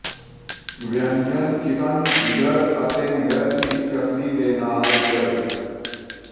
ਵਿਅੰਜਨ ਚਿਕਨ ਜਿਗਰ ਅਤੇ ਮਿਰਚ ਦੀ ਚਟਣੀ ਦੇ ਨਾਲ ਦਿਲ